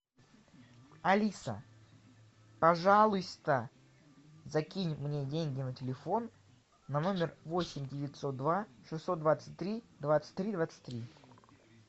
алиса пожалуйста закинь мне деньги на телефон на номер восемь девятьсот два шестьсот двадцать три двадцать три двадцать три